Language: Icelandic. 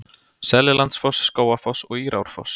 Seljalandsfoss, Skógafoss og Írárfoss.